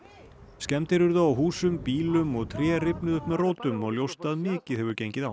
skemmdir urðu á húsum bílum og tré rifnuðu upp með rótum og ljóst að mikið hefur gengið á